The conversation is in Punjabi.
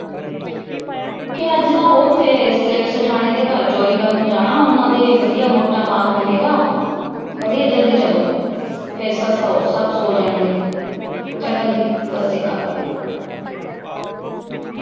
ਕਿ ਅੱਜ ਤਾਂ ਉੱਥੇ ਸੇਠ ਸੇਠਾਣੀ ਦੇ ਘਰ ਚੋਰੀ ਕਰਨ ਜਾਣਾ। ਉਹਨਾ ਦੇ ਵਧੀਆਂ ਮੋਟਾ ਮਾਲ ਮਿਲੇਗਾ। ਵਧੀਆਂ ਜਲਦੀ ਚਲੋ ਫਿਰ ਸਭ ਸੋ ਜਾਣਗੇ। ਚੰਗਾ ਜੀ, ਸਤਿ ਸ੍ਰੀ ਅਕਾਲ ।